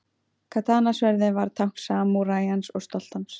Katana-sverðið var tákn samúræjans og stolt hans.